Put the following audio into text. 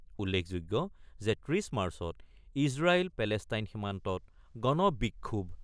উল্লেখযোগ্য যে ৩০ মাৰ্চত ইজৰাইল পেলেষ্টাইন সীমান্তত গণ বিক্ষোভ